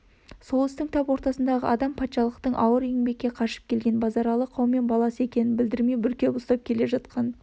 сол істің тап ортасындағы адам патшалықтың ауыр еңбекке қашып келген базаралы қаумен баласы екенін білдірмей бүркеп ұстап келе жатқан